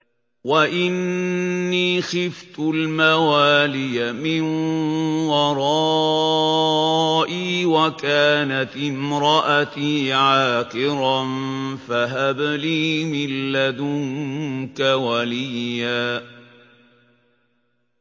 وَإِنِّي خِفْتُ الْمَوَالِيَ مِن وَرَائِي وَكَانَتِ امْرَأَتِي عَاقِرًا فَهَبْ لِي مِن لَّدُنكَ وَلِيًّا